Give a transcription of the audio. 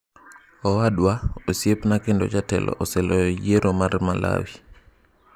Owadwa, osiepna kendo jatelo oseloyo yiero mag Malawi.